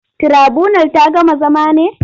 Tirabunal ta gama zama ne?